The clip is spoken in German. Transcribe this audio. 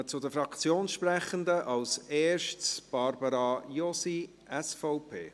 Wir kommen zu den Fraktionssprechenden, als erste Barbara Josi, SVP.